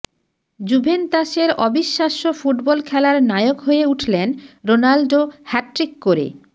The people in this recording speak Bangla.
জুভেন্তাসের অবিশ্বাস্য ফুটবল খেলার নায়ক হয়ে উঠলেন রোনাল্ডো হ্যাটট্রিক করে